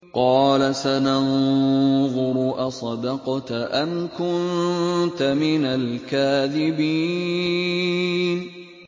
۞ قَالَ سَنَنظُرُ أَصَدَقْتَ أَمْ كُنتَ مِنَ الْكَاذِبِينَ